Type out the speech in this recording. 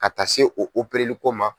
Ka taa se o opereliko ma.